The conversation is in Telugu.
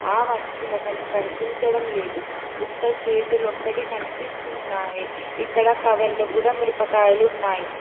ఆ మనిషి మఖం కనిపించడం లేదు ఉత్త చేతులొక్కటి కనిపిస్తున్నాయి ఇక్కడ కవర్ లో కూడా మిరపకాయలు ఉన్నాయి.